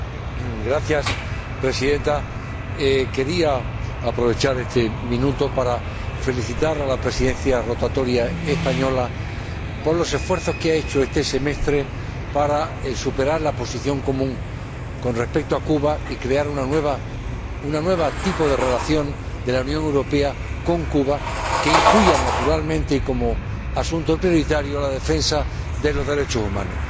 Señora Presidenta, quería aprovechar este minuto para felicitar a la Presidencia rotatoria española por los esfuerzos que ha hecho este semestre para superar la posición común con respecto a Cuba y crear un nuevo tipo de relación de la Unión Europea con Cuba que incluya naturalmente como asunto prioritario la defensa de los derechos humanos.